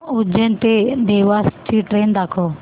उज्जैन ते देवास ची ट्रेन दाखव